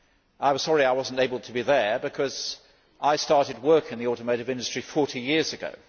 I was sorry I was unable to be there because I started work in the automotive industry 40 years ago.